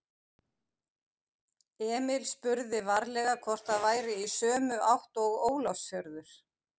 Emil spurði varlega hvort það væri í sömu átt og Ólafsfjörður.